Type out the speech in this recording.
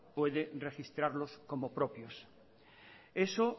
puede registrarlo como propios eso